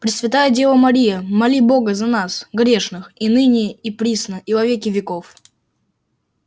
пресвятая дева мария моли бога за нас грешных и ныне и присно и во веки веков